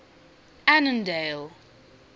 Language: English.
annandale